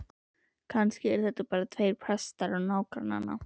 Kannski eru þetta bara tveir prestar á nágranna